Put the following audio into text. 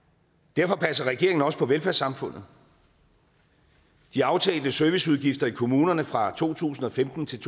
derfor passer regeringen også på velfærdssamfundet de aftalte serviceudgifter i kommunerne fra to tusind og femten til